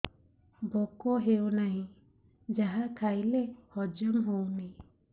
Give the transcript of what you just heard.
ଭୋକ ହେଉନାହିଁ ଯାହା ଖାଇଲେ ହଜମ ହଉନି